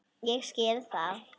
Ég skil það!